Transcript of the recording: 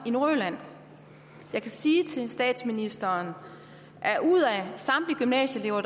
nordjylland jeg kan sige til statsministeren at ud af samtlige gymnasielærere